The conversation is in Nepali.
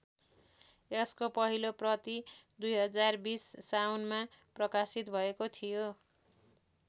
यसको पहिलो प्रति २०२० साउनमा प्रकाशित भएको थियो।